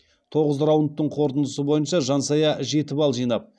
тоғыз раундтың қорытындысы бойынша жансая жеті балл жинап